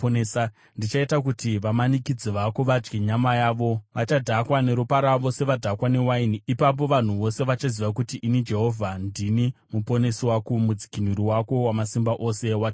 Ndichaita kuti vamanikidzi vako vadye nyama yavo; vachadhakwa neropa ravo, sevadhakwa newaini. Ipapo vanhu vose vachaziva kuti ini Jehovha, ndini Muponesi wako, Mudzikinuri wako, Wamasimba Ose waJakobho.”